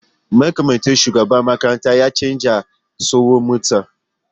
Mataimakin shugaban makarantar ya canza tsohuwar mota